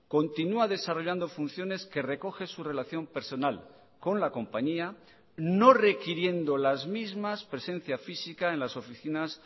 continúa desarrollando funciones que recoge su relación personal con la compañía no requiriendo las mismas presencia física en las oficinas